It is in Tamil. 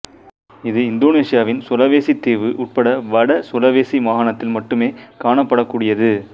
இது இந்தோனேசியாவின் சுலவேசி தீவு உட்பட வட சுலவேசி மாகாணத்தில் மட்டுமே காணப்படக்கூடியது